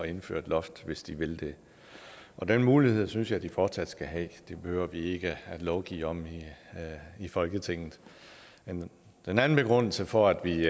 indføre et loft hvis de vil det og den mulighed synes jeg de fortsat skal have det behøver vi ikke at lovgive om i i folketinget den anden begrundelse for at vi